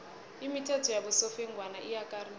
imithetho yabosofengwana iyakarisa